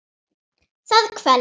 Það kvelst.